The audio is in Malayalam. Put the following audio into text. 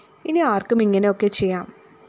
ഇനി ആര്‍ക്കും ഇങ്ങനെ ഒക്കെ ചെയ്യാം